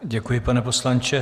Děkuji, pane poslanče.